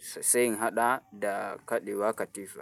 sai in haɗa da kaɗewa katifa.